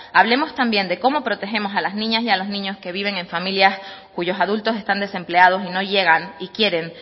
hablemos también de cómo protegemos a la niñas y a los niños que viven en familias cuyos adultos están desempleados y no llegan y quieren